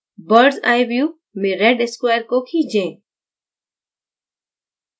birds eye view में red square को खींचे